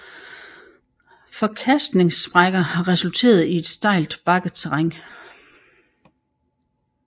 Forkastningssprækker har resulteret i et stejlt bakket terræn